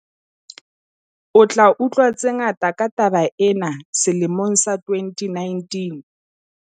O tla utlwa tse ngata ka taba ena selemong sa 2019.